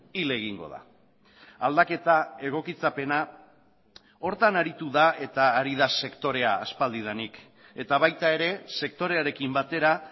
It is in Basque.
hil egingo da aldaketa egokitzapena horretan aritu da eta ari da sektorea aspaldidanik eta baita ere sektorearekin batera